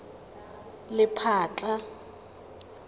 lephatla